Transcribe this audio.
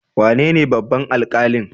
Waye ne babban alkalin?